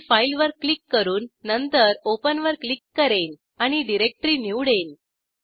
मी फाईलवर क्लिक करून नंतर ओपन वर क्लिक करेन आणि डिरेक्टरी निवडेन